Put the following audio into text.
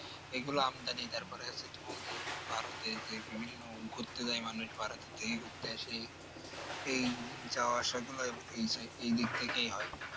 এগুলো আমদানি তারপরে আছে তুমার যে ভারতের যে বিভিন্ন ঘুরতে যায় মানুষ ভারতে থেকে ঘুরতে আসে এই যাওয়া আসা গুলো এই দিক থেকেই হয়